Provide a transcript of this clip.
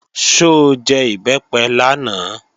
Ṣó jẹ Ìbẹ́pẹ lánàá?